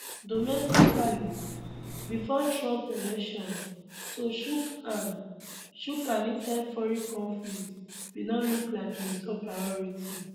domestically before trump election to chook hand chook hand inside foreign conflicts bin no look like im top priority